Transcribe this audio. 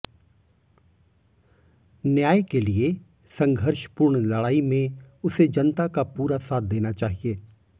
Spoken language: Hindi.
न्याय के लिए संघर्ष पूर्ण लड़ाई में उसे जनता का पूरा साथ देना चाहिए